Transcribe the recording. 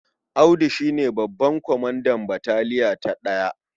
Audu shi ne babban kwamandan bataliya ta ɗaya.